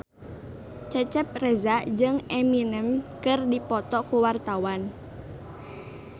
Cecep Reza jeung Eminem keur dipoto ku wartawan